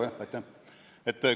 Jah, aitäh!